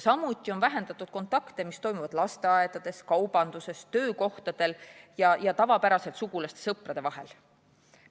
Samuti on vähendatud kontakte, mis toimuvad lasteaedades, kaubanduskeskustes, töökohtadel ja tavapäraselt sugulaste-sõprade vahel.